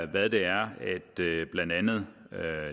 hvad det er blandt andet